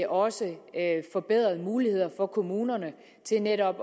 også forbedrede muligheder for kommunerne til netop